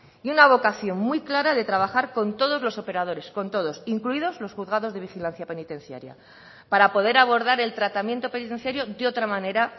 y una vocación muy clara de trabajar con todos los operadores con todos incluidos los juzgados de vigilancia penitenciaria para poder abordar el tratamiento penitenciario de otra manera